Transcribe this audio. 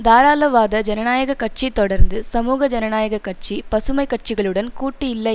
தாராளவாத ஜனநாயக கட்சி தொடர்ந்து சமூக ஜனநாயக கட்சி பசுமை கட்சிகளுடன் கூட்டு இல்லை